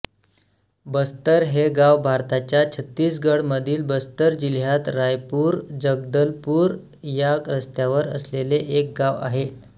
बस्तर हे गाव भारताच्या छत्तीसगढमधील बस्तर जिल्ह्यात रायपूरजगदलपूर या रस्त्यावर असलेले एक गाव आहे